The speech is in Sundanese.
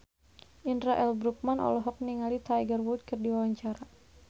Indra L. Bruggman olohok ningali Tiger Wood keur diwawancara